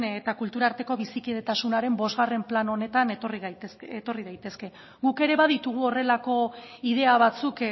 eta kultura arteko bizikidetasunaren bostgarren plan honetan etorri daitezke guk ere baditugu horrelako idea batzuk